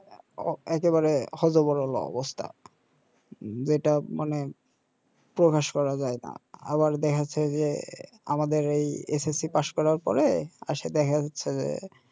একেবারে হ য ব র ল অবস্থা যেটা মানে প্রকাশ করা যায়না আবার দেখা যাচ্ছে যে আমাদের এই এস এস সি পাশ করার পরে আসলে দেখা যাচ্ছে যে